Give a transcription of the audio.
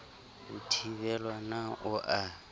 ho thibelwa na o a